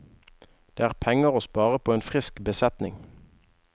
Det er penger å spare på en frisk besetning.